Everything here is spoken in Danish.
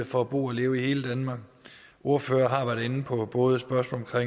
for at bo og leve i hele danmark ordførerne har været inde på både spørgsmålet